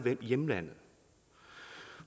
hjemlandet